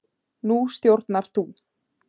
Nú stjórnar þú.